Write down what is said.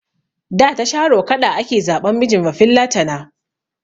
Da ta sharo kaɗa ake zaɓan mijin bafillatana.